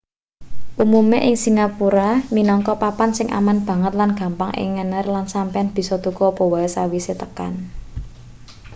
umume ing singapura minangka papan sing aman banget lan gampang ing ngener lan sampeyan bisa tuku apa wae sawise tekan